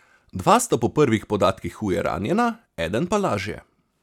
Dva sta po prvih podatkih huje ranjena, eden pa lažje.